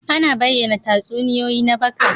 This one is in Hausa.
Ana bayyana tatsuniyoyi na baka.